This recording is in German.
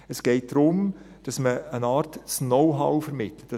Es geht darum, dass man auf eine Art das Know-how vermittelt.